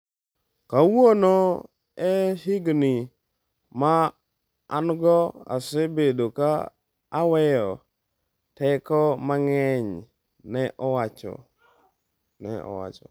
Kawuono...e higni ma an-go, asebedo ka aweyo teko mang’eny, ne owacho.